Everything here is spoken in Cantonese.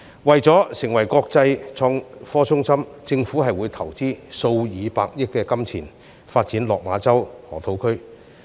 為了成為國際創科中心，政府會投資數以百億元發展落馬洲河套區。